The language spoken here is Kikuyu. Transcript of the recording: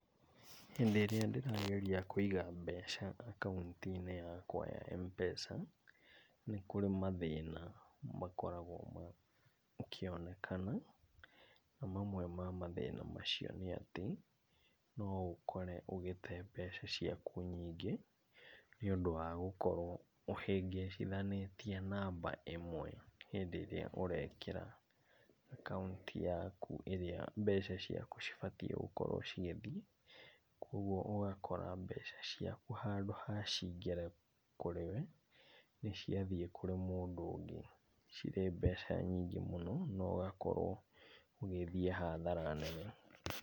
Hĩndĩ ĩrĩa ndĩrageria kũiga mbeca akaunti-inĩ yakwa ya M-Pesa nĩ kũrĩ mathĩna makoragwo makĩonekana. Na mamwe ma mathĩna macio nĩ atĩ no ũkore ũgĩte mbeca ciaku nyingĩ nĩũndũ wa gũkorwo ũhĩngĩcithanĩtie namba ĩmwe hĩndĩ ĩrĩa ũrekĩra akaunti yaku ĩrĩa mbeca ciaku cibatiĩ gũkorwo cigĩthiĩ. Kwoguo ũgakora mbeca ciaku handũ ha ciingĩre kũrĩ we, nĩ ciathiĩ kũrĩ mũndũ ũngĩ cirĩ mbeca nyingĩ mũno na ũgakorwo ũgĩthiĩ hathara nene.